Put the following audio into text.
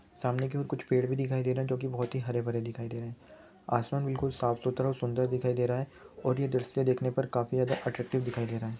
सामने की ओर कुछ पेड़ भी दिखाई दे रहे है जो कि बहुत हरे भरे दिखयी दे रहे है आसमान बिल्कुल सफ़्सुत्र और सुन्दर दिखयी दे रहे है और ये दृश्य देखने पर काफ़ि ज्यादा अतरच्तिवे भी दिखयी दे रह है